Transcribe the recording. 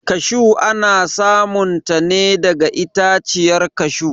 kashu ana samun ta ne daga itaciyar kashu